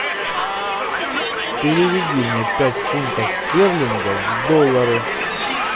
переведи мне пять фунтов стерлингов в доллары